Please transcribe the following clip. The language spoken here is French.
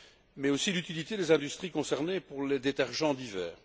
mais aussi l'utilité des industries concernées pour les détergents divers.